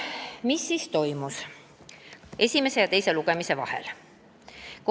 Mis siis toimus esimese ja teise lugemise vahel?